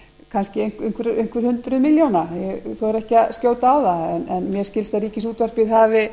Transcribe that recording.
kannski einhver hundruð milljóna ég þori ekki að skjóta á það en mér skilst að ríkisútvarpið hafi